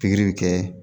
Pikiri kɛ